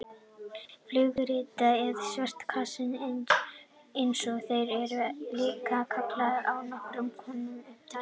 Flugritar eða svörtu kassarnir eins og þeir eru líka kallaðir eru nokkurs konar upptökutæki.